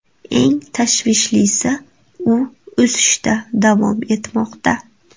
Eng tashvishlisi u o‘sishda davom etmoqda.